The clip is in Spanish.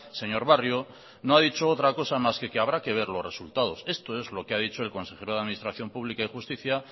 señor barrio no ha dicho otra cosa más que que habrá que ver los resultados esto es lo que ha dicho el consejero de administración pública y justicia